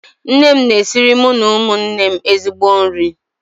Nne m na-esiri mụ na ụmụnne m ezigbo nri